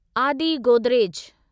आदि गोदरेज